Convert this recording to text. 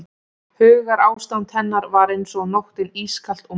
Hugarástand hennar var eins og nóttin ískalt og myrkvað.